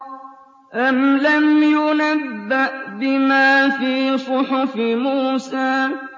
أَمْ لَمْ يُنَبَّأْ بِمَا فِي صُحُفِ مُوسَىٰ